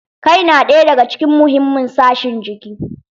Kai na ɗaya daga cikin muhimin sashen jiki.